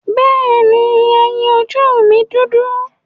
Bẹ́ẹ̀ni, ẹyin ojú mi dúdú.